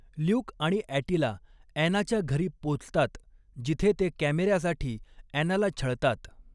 Luke आणि Attila ॲनाच्या घरी पोचतात, जिथे ते कॅमेऱ्यासाठी ॲनाला छळतात.